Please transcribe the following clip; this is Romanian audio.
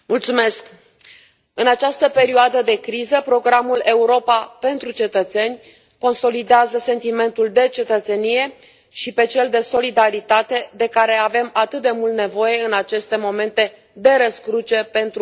În această perioadă de criză, programul Europa pentru cetățeni consolidează sentimentul de cetățenie și pe cel de solidaritate de care avem atât de mult nevoie în aceste momente de răscruce pentru Uniunea Europeană.